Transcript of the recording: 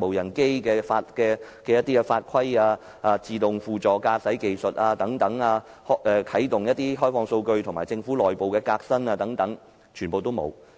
無人機的法規、自動輔助駕駛技術、啟動開放數據，以及政府內部革新等？